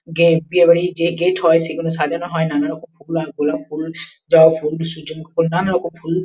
Gate বিয়ে বাড়ি যে গেট হয় সেগুলো সাজানো হয় নানা রকম ফুল গোলাপ ফুল জবা ফুল সূযমুখীফুল নানা রকম ফুল।